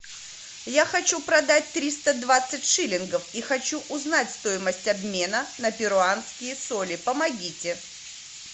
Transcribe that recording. я хочу продать триста двадцать шиллингов и хочу узнать стоимость обмена на перуанские соли помогите